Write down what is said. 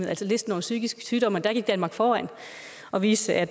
altså listen over psykiske sygdomme og der gik danmark foran og viste at